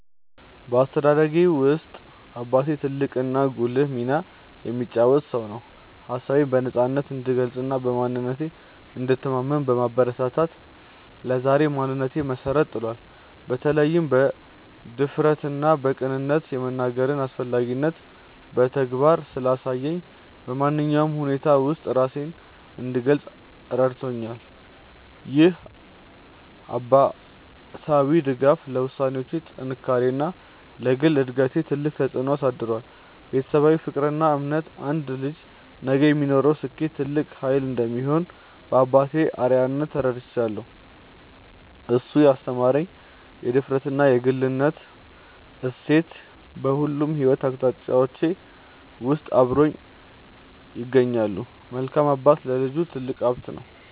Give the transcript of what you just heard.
በአስተዳደጌ ውስጥ አባቴ ትልቅና ጉልህ ሚና የተጫወተ ሰው ነው። ሀሳቤን በነፃነት እንድገልጽና በማንነቴ እንድተማመን በማበረታታት ለዛሬው ማንነቴ መሰረት ጥሏል። በተለይም በድፍረትና በቅንነት የመናገርን አስፈላጊነት በተግባር ስላሳየኝ፣ በማንኛውም ሁኔታ ውስጥ ራሴን እንድገልጽ ረድቶኛል። ይህ አባታዊ ድጋፍ ለውሳኔዎቼ ጥንካሬና ለግል እድገቴ ትልቅ ተጽዕኖ አሳድሯል። ቤተሰባዊ ፍቅርና እምነት አንድ ልጅ ነገ ለሚኖረው ስኬት ትልቅ ኃይል እንደሚሆን በአባቴ አርአያነት ተረድቻለሁ። እሱ ያስተማረኝ የድፍረትና የግልነት እሴት በሁሉም የሕይወት አቅጣጫዎቼ ውስጥ አብሮኝ ይገኛል። መልካም አባት ለልጁ ትልቅ ሀብት ነው።